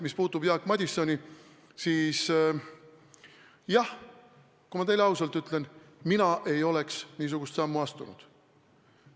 Mis puutub Jaak Madisoni, siis jah, kui ma teile ausalt ütlen, siis mina ei oleks niisugust sammu astunud.